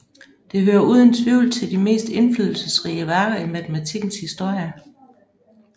Det hører uden tvivl til de mest indflydelsesrige værker i matematikkens historie